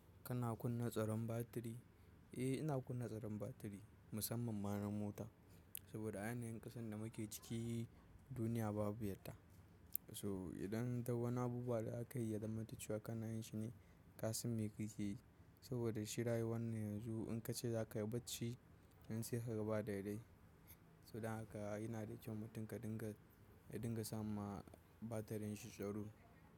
Kana kunna tsaron batiri? Eh, ina kunna tsaron batiri musamman ma na mota saboda ayanayin ƙasan da muke ciki duniya babu yadda. To idan ta wani abubuwa da aka yi ya zamanta cewa kanayin shi ne ka san me kake yi saboda shi rayuwannan yanzu in ka ce za ka yi bacci, yanzu sai ka ga ba daidai. So dan haka yana da kyau mutum ka dinga, ka dinga sa ma batirin shi tsaro.